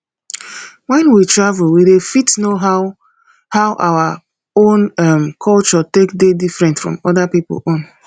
when we travel we dey fit know how how our own um culture take dey different from oda pipo own